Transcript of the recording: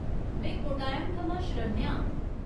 में कोट्टायम थमां शरण्या आं।